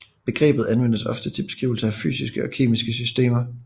Begrebet anvendes ofte til beskrivelse af fysiske og kemiske systemer